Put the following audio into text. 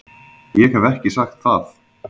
Ég hef ekki sagt það!